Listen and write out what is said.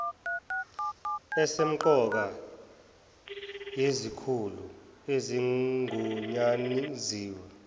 esempqoka yezikhulu ezigunyanziwe